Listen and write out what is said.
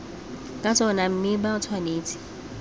ka tsona mme ba tshwanetse